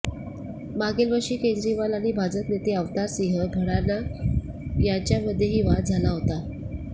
मागील वर्षी केजरीवाल आणि भाजप नेते अवतार सिंह भडाना यांच्यामध्येही वाद झाला होता